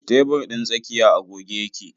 Tebur ɗin tsakiya a goge yake.